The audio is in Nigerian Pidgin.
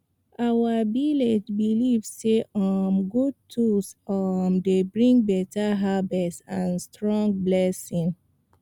our village belief say um good tools um dey bring beta harvest and strong blessing